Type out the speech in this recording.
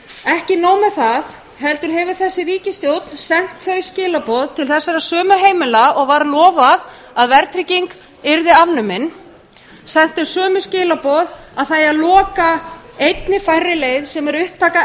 ekki nóg með það heldur hefur þessi ríkisstjórn sent þau skilaboð til þessara sömu heimila og var lofað að verðtrygging yrði afnumin sent þau sömu skilaboð að það eigi að loka einni færri leið sem er upptaka